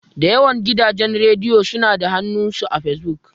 Da yawan gidajen rediyo suna da hannu s Fesbuk.